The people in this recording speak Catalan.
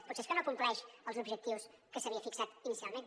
potser és que no compleix els objectius que s’havia fixat inicialment